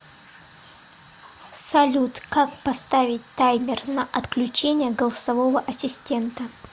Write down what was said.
салют как поставить таймер на отключение голосового ассистента